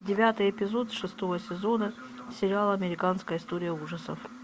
девятый эпизод шестого сезона сериала американская история ужасов